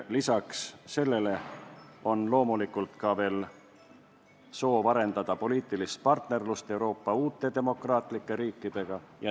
Lisaks sellele on loomulikult veel soov arendada poliitilist partnerlust Euroopa uute demokraatlike riikidega.